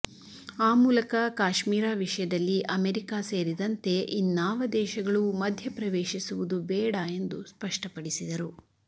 ಆ ಮೂಲಕ ಕಾಶ್ಮೀರ ವಿಷಯದಲ್ಲಿ ಅಮೆರಿಕ ಸೇರಿದಂತೆ ಇನ್ನಾವ ದೇಶಗಳೂ ಮಧ್ಯಪ್ರವೇಶಿಸುವುದು ಬೇಡ ಎಂದು ಸ್ಪಷ್ಟಪಡಿಸಿದರು